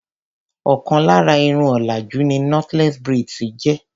Ọ̀kan lára Irun òlàjú ni knotless braids jẹ́.